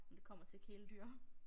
Når det kommer til kæledyr